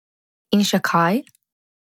In še kaj ...